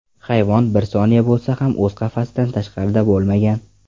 Hayvon, bir soniya bo‘lsa ham o‘z qafasidan tashqarida bo‘lmagan.